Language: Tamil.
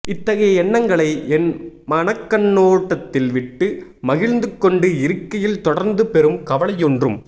இத்தகைய எண்ணங்களை என் மனக்கண்ணோட்டத்தில் விட்டு மகிழ்ந்துகொண்டு இருக்கையில் தொடர்ந்து பெரும் கவலை ஒன்றும்